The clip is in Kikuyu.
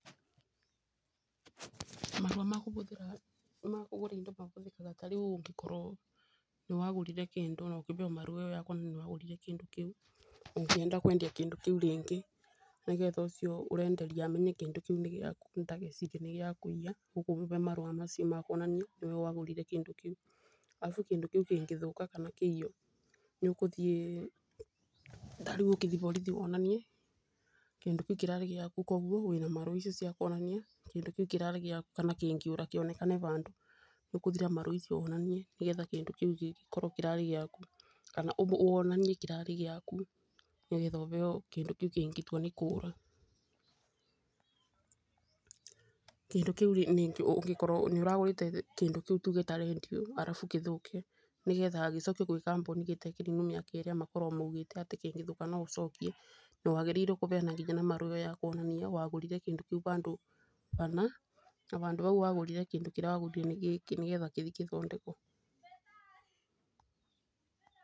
Marũa ma kũgũra indo mahũthĩkaga ta rĩu ũngĩkorwo nĩwagũrire kĩndũ na kũheyo marũa makuonania nĩwagũrire kĩndũ kĩu, ũngĩenda kwendia kĩndũ kĩu rĩngĩ nĩgetha ũcio ũrenderia amenye kĩndũ kĩu nĩ gĩaku ndagecirie nĩ gĩa kũiya, ũkũmũhe marũa macio ma kuonania nĩwe wagũrire kĩndũ kĩu. Arabu kĩndũ kĩu kĩngĩthũka kana kĩiywo ta rĩu ũngĩthiĩ borithi wonanie kĩndũ kĩu kĩrarĩ gĩaku wĩna marũa ma kuonania kĩndũ kĩu kĩrarĩ gĩaku ona kĩngĩũra kana kĩonekane handũ. Ũgũthiĩ na marũa mau wonanie nĩgetha kĩndũ kĩu kĩngĩkorwo kĩrarĩ gĩaku kana wonanie kĩrarĩ gĩaku nĩgetha ũneo kĩndũ kĩu kĩngĩtua nĩ kũra. Kũngĩkorwo nĩ ũragũrĩte kĩndũ kĩu tuge ta rendiũ arabu gĩthũke nĩgetha gĩcokio kũrĩ kambuni gĩtarĩ kĩninu mĩaka ĩrĩa maugĩte kĩngĩthũka no ũcokie, nĩwagĩrĩire kũneyena na marũa wonanie ũgũrire kĩndũ kĩu handũ hana na handũ hau wagũrĩre kĩndũ kĩrĩa wagũrire nĩ gĩkĩ nĩgetha gĩthĩ gĩthondekwo.